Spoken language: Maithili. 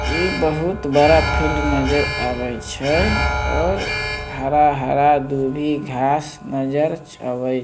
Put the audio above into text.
ये बहुत बड़ा फील्ड नज़र आवे छे और हरा-हरा दुभी घास नज़र आवै --